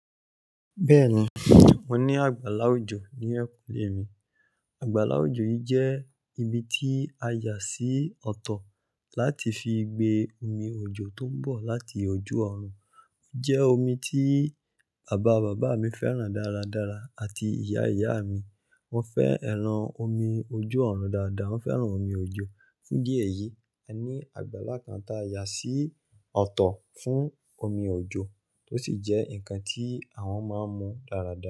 Bẹ́ẹ̀ni, wọ́n ní àgbàlá òjò ní enkùnlé mi. Àgbàlá òjò yìí jẹ́ ibi tí a yà sí ọ̀tọ̀ láti fi gbé omi òjò tó ń bọ̀ láti ojú ọ̀run. Ó jẹ́ omi tí bàbá bàbá mi fẹ́ràn dára dára àti ìyá ìyá mi. Wọ́n fẹ́ ẹran omi ojú ọ̀run dáadáa, wọ́n fẹ́ràn omi òjò. Fún idí ẹ̀yìí, a ní àgbàlá kan tí a yà sí ọ̀tọ̀ fún omi òjò tó sì jẹ́ ǹnkan tí àwọn máa ń mu dáradára.